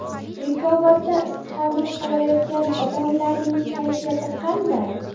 Bekobodda istiqomat qilayotgan odamlarning kayfiyati qanday?